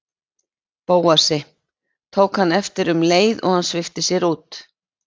Bóasi, tók hann eftir um leið og hann svipti sér út.